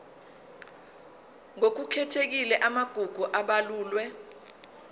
ngokukhethekile amagugu abalulwe